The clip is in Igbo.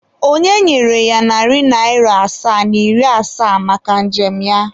Ọ nyere ya narị naịra asaa na iri asaa maka njem ya.